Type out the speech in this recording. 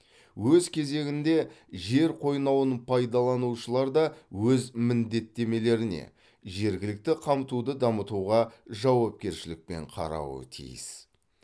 өз кезегінде жер қойнауын пайдаланушылар да өз міндеттемелеріне жергілікті қамтуды дамытуға жауапкершілікпен қарауы тиіс